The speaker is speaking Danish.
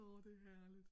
Åh det er herligt